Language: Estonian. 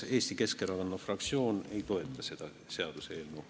Eesti Keskerakonna fraktsioon ei toeta seda seaduseelnõu.